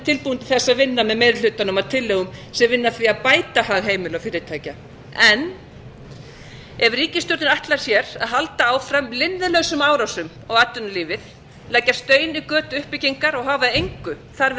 tilbúinn til þess að vinna með meiri hlusta að tillögum sem vinna að því að bæta hag heimila og fyrirtækja en ef ríkisstjórnin ætlar sér að halda áfram linnulausum árásum á atvinnulífið leggja stein í götu uppbyggingar og hafa engu þarfir